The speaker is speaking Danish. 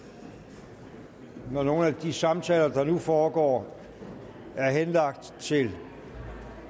og når nogle af de samtaler der nu foregår er henlagt til